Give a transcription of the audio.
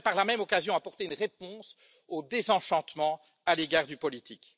Il aurait par la même occasion apporté une réponse au désenchantement à l'égard du politique.